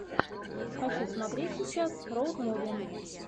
хочу смотреть сейчас роуд муви